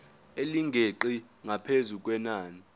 elingeqi ngaphezu kwenani